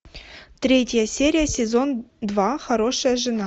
третья серия сезон два хорошая жена